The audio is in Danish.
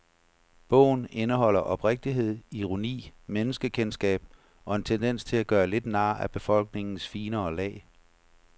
Bogen indeholder oprigtighed, ironi, menneskekendskab og en tendens til at gøre lidt nar af befolkningens finere lag.